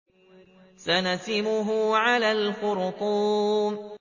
سَنَسِمُهُ عَلَى الْخُرْطُومِ